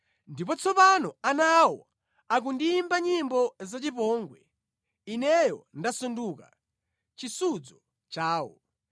“Ndipo tsopano ana awo akundiyimba nyimbo zachipongwe; ineyo ndasanduka chisudzo chawo.